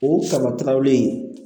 O sɔrɔtawlen